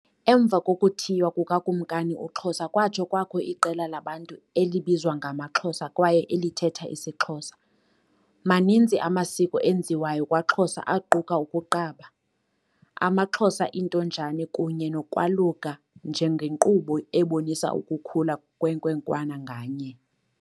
Emva kokuthiywa kukaKumkani uXhosa kwatsho kwakho iqela labantu elibizwa ngamaXhosa kwaye elithetha isiXhosa. Maninzi amasiko enziwayo kwaXhosa aquka ukuqaba, AmaXhosa intonjane kunye nokwaluka njengenkqubo ebonisa ukukhula kwenkwenkwana nganye.